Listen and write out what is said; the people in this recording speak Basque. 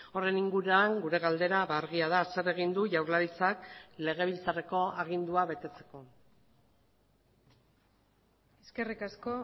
horren inguruan gure galdera argia da zer egin du jaurlaritzak legebiltzarreko agindua betetzeko eskerrik asko